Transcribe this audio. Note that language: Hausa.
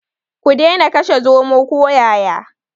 Ku dena kashe zomo ko yaya.